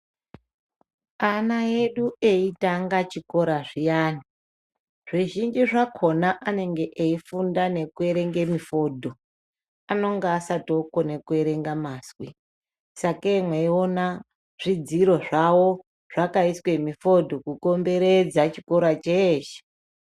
Ana edu eyitanga chikora zviyane, zvizhinji zvakhona, anenge eyifunda nekuyerenge mifodo. Anonge asati okone kuyerenga mazvi. Saka, eyiwona zvidziro zvawo zvakayiswe mifodo kukomberedza chikora cheshe.